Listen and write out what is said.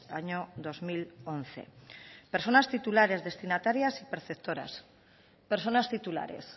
año dos mil once personas titulares destinatarias y preceptoras personas titulares